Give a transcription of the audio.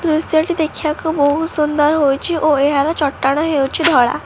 ଦୃଶ୍ୟ ଟି ଦେଖିବାକୁ ବହୁତ ସୁନ୍ଦର ହୋଇଚି ଓ ଏହାର ଚଟାଣ ହେଉଚି ଧଳା।